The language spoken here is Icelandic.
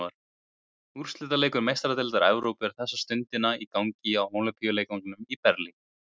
Úrslitaleikur Meistaradeildar Evrópu er þessa stundina í gangi á Ólympíuleikvangnum í Berlín.